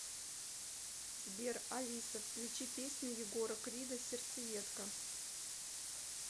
сбер алиса включи песню егора крида сердцеедка